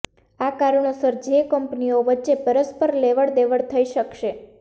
આ કારણોસર જે કંપનીઓ વચ્ચે પરસ્પર લેવડદેવડ થઈ શકશે